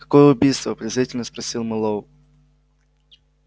какое убийство презрительно спросил мэллоу